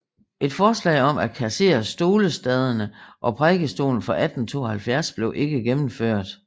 Et forslag om at kassere stolestaderne og prædikestolen fra 1872 blev ikke gennemført